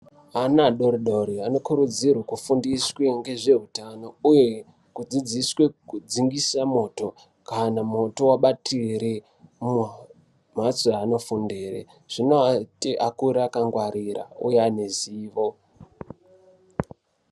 Ana adori dori anokurudziru kufundiswe ngezveutano uye kudzidziswe kudzingise moto kana mwoto wabatire mumhatso yaanofundirezvinoati akure akangwarira uye ane zivo.